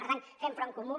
per tant fem front comú